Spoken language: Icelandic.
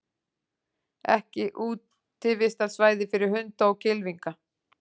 Ekki útivistarsvæði fyrir hunda og kylfinga